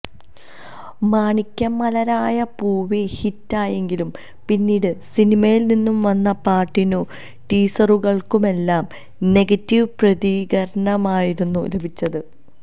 മാണിക്യ മലരായ പൂവി ഹിറ്റായെങ്കില് പിന്നീട് സിനിമയില് നിന്നും വന്ന പാട്ടിനും ടീസറുകള്ക്കുമെല്ലാം നെഗറ്റീവ് പ്രതികരണമായിരുന്നു ലഭിച്ചത്